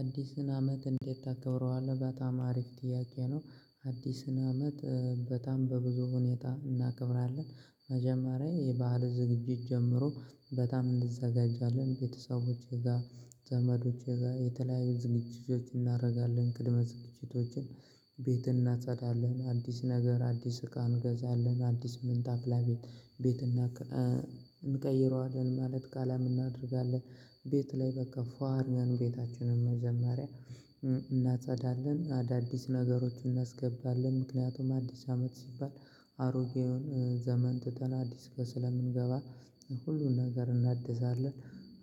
አዲስን አመት እንዴት ታከብረዋለህ በጣም አሪፍ ጥያቄ ነው? አዲስን አመት በጣም በብዙ ሁኔታ እናከብራለን። መጀመሪያ የባህል ዝግጅት ጀምሮ በጣም እንዘጋጃለን ቤተሰቦቼ ጋር ዘመዶቼ ጋር የተለያዩ ዝግጅቶችን እናደርጋለን ቅድመ ዝግጅቶችን። እናጸዳለን አዲስ ነገር አዲስ እቃ እንገዛለን አዲስ ምንጣፍ ለቤት ቤት እንቀይረዋለን ማለት ቀለም እናደርጋለን። ቤት ላይ በቃ ፏ አርገን ቤታችንን መጀመሪያ። እናጸዳለን አዳዲስ ነገሮችን እናስገባለን ምክንያቱም አዲስ አመት ሲባል አሮጌውን ዘመን ትተን አዲሱ ጋስለምንገባ ሁሉን ነገር እናድሳለን።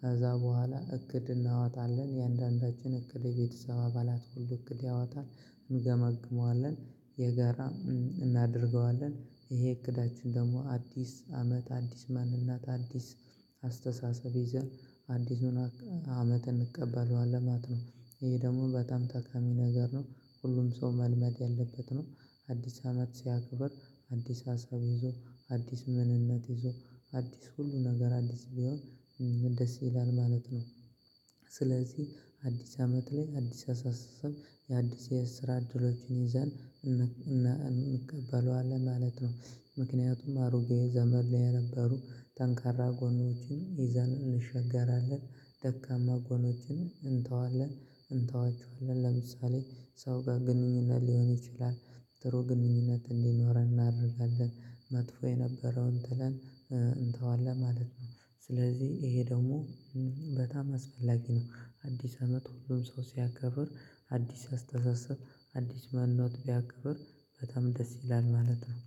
ከዛ በኋላ እቅድ እናወጣለን የእያንዳንዳችን እቅድ የቤተሰብ አባላት ሁሉ እቅድ ያወጣል። እንገመግመዋለን የጋራ እናደርገዋለን። ይሄ እቅዳችን ደግሞ አዲስ አመት አዲስ ማንነት እና አዲስ አስተሳሰብ ይዘን አዲሱን አመት እንቀበለዋለን ማት ነው። ይሄ ደግሞ በጣም ጠቃሚ ነገር ነው። ሁሉም ሰው መልመድ ያለበት ነው። አዲስ አመት ሲያክብር አዲስ ሀሳብ ይዞ አዲስ ማንነት ይዞ አዲስ ሁሉ ነገር አዲስ ቢሆን ደስ ይላል ማለት ነው። ስለዚህ አዲስ አመት ላይ አዲስ አስተሳሰብ የአዲስ የስራ እድሎቹን ይዘን እንቀበለዋለን ማለት ነው። ምክንያቱም አሮጌ ዘመን የነበሩ ጠንካራ ጎኖችን ይዘን እንሸጋገራለን። ደካማ ጎኖችን እንተዋለን እንተዋቸዋለን። ለምሳሌ ሰው ጋር ግንኙነት ሊሆን ይችላል ጥሩ ግንኙነት እንዲኖረን እናደርጋለን። መጥፎ የነበረውን ጥለን እንተዋለን ማለት ነው። ስለዚህ ይሄ ደግሞ በጣም አስፈላጊ ነው። አዲስ አመት ሁሉም ሰው ሲያከብር አዲስ አስተሳሰብ በአዲስ ማንነት ቢያክብር በጣም ደስ ይላል ማለት ነው